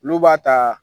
Olu b'a ta